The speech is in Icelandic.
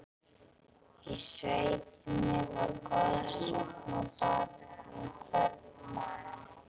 Í sveitinni var goðsögn á bak við hvern mann.